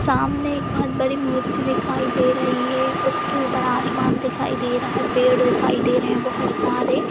सामने एक बहुत बड़ी मूर्ति दिखाई दे रही है उसके ऊपर आसमान दिखाई दे रहा है पेड़ दिखाई दे रहे हैं बहुत सारे।